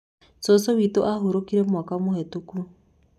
Cucu witũ ahurũkire mwaka mũhetũku.